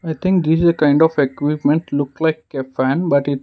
i think this is a kind of equipment looks like a pen but its--